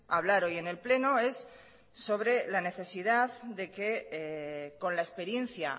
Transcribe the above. hablar hoy en el pleno es sobre la necesidad de que con la experiencia